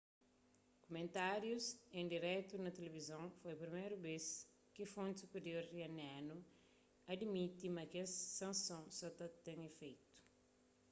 kumentárius en diretu na tilivizon foi priméru bês ki fonti supirior iranianu adimiti ma kes sansons sa ta ten ifeitu